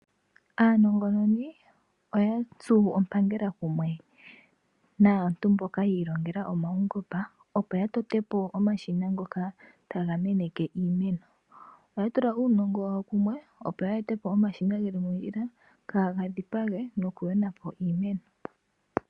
Aanongononi oya tsu ompangela kumwe naantu mboka yi ilongela omaungomba opo yatote po omashina ngoka taga meneke iimeno oya tula uunongo wawo kumwe opo ya ete po omashina geli mondjila kaaga dhipage noku yona po iimeno.